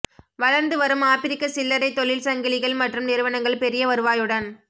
வளர்ந்து வரும் ஆப்பிரிக்க சில்லறை தொழில் சங்கிலிகள் மற்றும் நிறுவனங்கள் பெரிய வருவாயுடன்